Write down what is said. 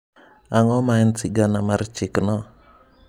Ang’o ma en sigana mar chikno?